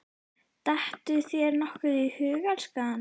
Dettur þér nokkuð í hug, elskan?